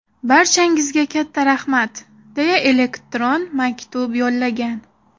Barchangizga katta rahmat!” deya elektron maktub yo‘llagan.